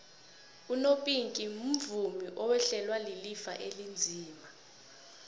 umopinki umvumi owehlelwa lilifa elinzima